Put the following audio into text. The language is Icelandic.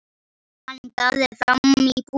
Hann gáði fram í búð.